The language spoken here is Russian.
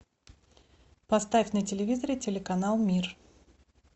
поставь на телевизоре телеканал мир